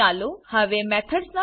ચાલો હવે મેથડ્સ